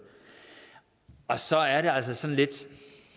så er der altså sådan lidt